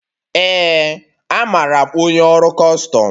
Ee, amaara m onye ọrụ Kustum